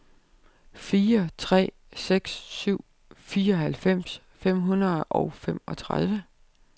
fire tre seks syv fireoghalvfems fem hundrede og femogtredive